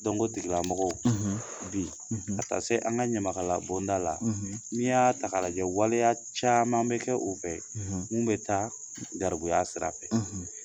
o tigilamɔgɔw, bi ka taa se an ka ɲamakalabonda la, n'i y'a ta k'a lajɛ waleya caman bɛ kɛ u fɛ min bɛ taa garibuya sira fɛ